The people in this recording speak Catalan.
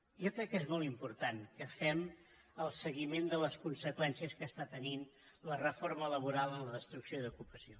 jo crec que és molt important que fem el seguiment de les conseqüències que està tenint la reforma laboral en la destrucció d’ocupació